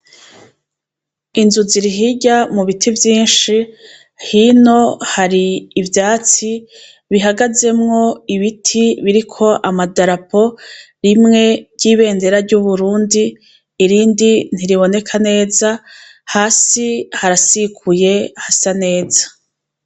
Inzu zi rihirya mu biti vyinshi hino hari ivyatsi bihagazemwo ibiti biriko amadarapo rimwe ry'ibendera ry'uburundi irindi ntiriboneka neza hasi harasikuye hasa neza.